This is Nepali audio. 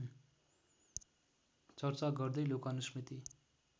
चर्चा गर्दै लोकानुस्मृति